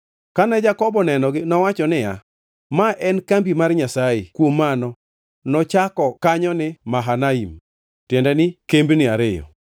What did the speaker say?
Kane Jakobo onenogi, nowacho niya, “Ma en kambi mar Nyasaye!” Kuom mano nochako kanyo ni Mahanaim (tiende ni kembni ariyo).